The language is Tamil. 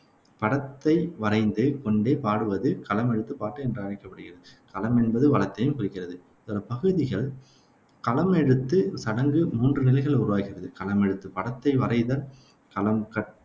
படத்தை வரைந்து கொண்டே பாடுவது களமெழுத்துப்பாட்டு என்று அழைக்கப்படுகிறது. களம் என்பது வளத்தையும் குறிக்கிறது. பகுதிகள் களமெழுத்துச் சடங்கு மூன்று நிலைகளில் உருவாகிறது களமெழுத்து படத்தை வரைதல், களம் க